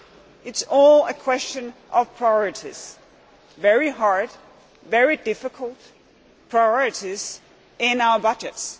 It is all a question of priorities very hard, very difficult priorities in our budgets.